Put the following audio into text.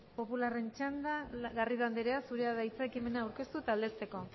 popularren txanda garrido andrea zurea da hitza ekimena aurkeztu eta aldezteko